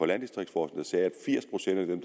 landdistriktsforskning sige at firs procent af dem